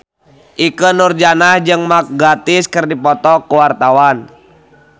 Ikke Nurjanah jeung Mark Gatiss keur dipoto ku wartawan